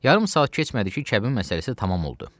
Yarım saat keçmədi ki, kəbin məsələsi tamam oldu.